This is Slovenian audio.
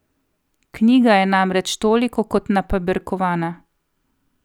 Knjiga je namreč toliko kot napaberkovana.